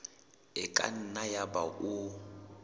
e ka nna yaba o